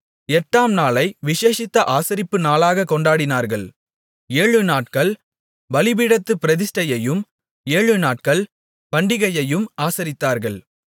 எட்டாம் நாளை விசேஷித்த ஆசரிப்பு நாளாகக் கொண்டாடினார்கள் ஏழுநாட்கள் பலிபீடத்துப் பிரதிஷ்டையையும் ஏழு நாட்கள் பண்டிகையையும் ஆசரித்தார்கள்